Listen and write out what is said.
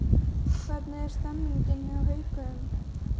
Hvernig er stemningin hjá Haukum?